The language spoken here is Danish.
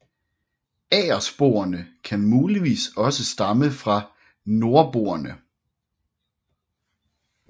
Agersporene kan muligvis også stamme fra nordboerne